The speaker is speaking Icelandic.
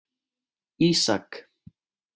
Ísak